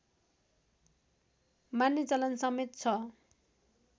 मान्ने चलन समेत छ